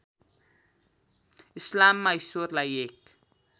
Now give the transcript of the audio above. इस्लाममा ईश्वरलाई एक